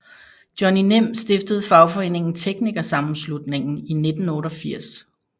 Johnny Nim stiftede fagforeningen TeknikerSammenslutningen i 1988